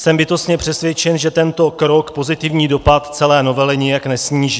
Jsem bytostně přesvědčen, že tento krok pozitivní dopad celé novely nijak nesníží.